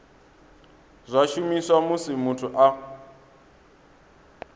zwa shumiswa musi muthu a